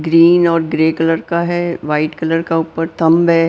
Green और grey colour का है वाइट कलर का ऊपर थंब है।